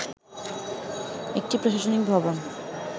একটি প্রশাসনিক ভবন